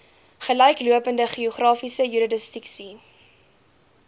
gelyklopende geografiese jurisdiksie